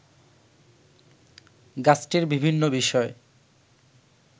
গাছটির বিভিন্ন বিষয়